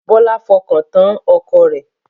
Bọlá fọkàn tán ọkọ rẹ̀